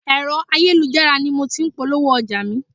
Ẹ̀rọ ayélujára ni mo ti ń polówó ọjà mi.